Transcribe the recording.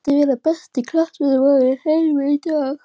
Hver skyldi vera besti knattspyrnumaður í heiminum í dag?